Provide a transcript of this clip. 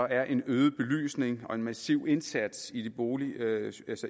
er en øget belysning og en massiv indsats i boligmiljøet